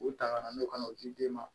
U ta kana n'o ka n'o di den ma